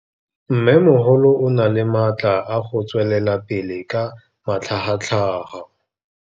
Mmêmogolo o na le matla a go tswelela pele ka matlhagatlhaga.